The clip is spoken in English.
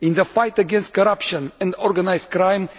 in the fight against corruption and organised crime